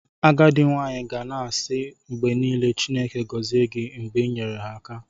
Agadi nwanyi ga na-asi mgbe nile "Chineke gozie gi" mgbe i nyere ha aka "